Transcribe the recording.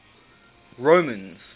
romans